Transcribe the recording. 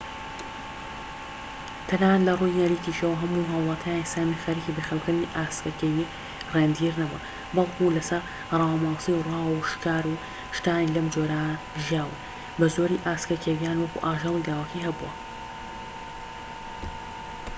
تەنانەت لەڕووی نەریتیشەوە، هەموو هاولاتیانی سامی خەریکی بەخێوکردنی ئاسکە کێوی ڕێندیر نەبوون، بەلکو لەسەر ڕاوە ماسی و راووشکار و شتانی لەم جۆرە ژیاون، بەزۆری ئاسکە کێویان وەکو ئاژەلی لاوەکی هەبووە